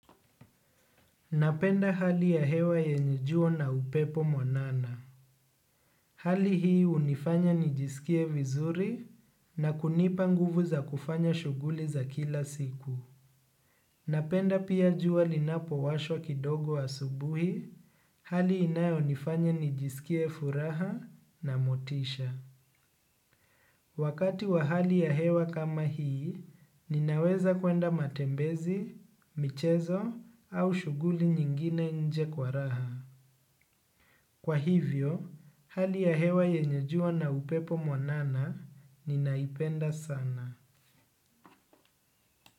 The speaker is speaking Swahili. Napenda hali ya hewa yenye jua na upepo mwanana. Hali hii unifanya nijisikie vizuri na kunipa nguvu za kufanya shuguli za kila siku. Napenda pia jua linapowashwa kidogo asubuhi, hali inayonifanya nijisikie furaha na motisha. Wakati wa hali ya hewa kama hii, ninaweza kwenda matembezi, michezo au shughuli nyingine nje kwa raha. Kwa hivyo, hali ya hewa yenye jua na upepo mwanana ninaipenda sana.